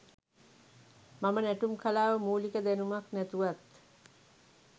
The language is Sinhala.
මම නැටුම් කලාව මුලික දැනුමක් නැතුවත්